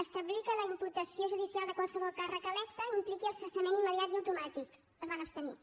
establir que la imputació judicial de qualsevol càrrec electe impliqui el cessament immediat i automàtic es van abstenir